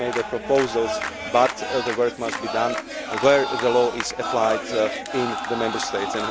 We can make the proposals but the work must be done where the law is applied in the Member States.